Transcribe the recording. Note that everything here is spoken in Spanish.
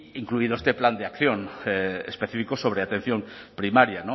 incluido este plan de acción específico sobre atención primaria